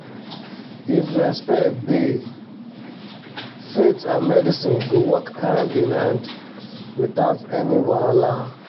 if respect dey faith and medicine go work hand in hand without any wahala